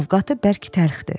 Ovqatı bərk təlxdir.